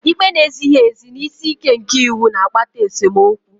Ikpe na-ezighị ezi na isi ike nke iwu na-akpata esemokwu